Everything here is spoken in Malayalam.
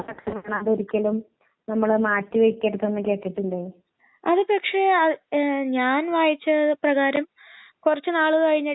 അതൊക്കെ ഇഷ്ട്ടാണോ ആ മ് പിന്നെ മ് മ് ആൻസിടെ